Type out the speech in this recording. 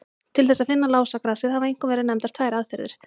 Til þess að finna lásagrasið hafa einkum verið nefndar tvær aðferðir.